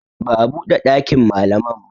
Ba a buɗe ɗakin malaman ba